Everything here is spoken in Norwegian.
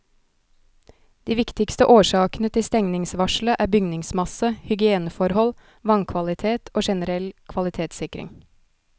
De viktigste årsakene til stengningsvarselet er bygningsmasse, hygieneforhold, vannkvalitet og generell kvalitetssikring.